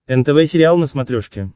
нтв сериал на смотрешке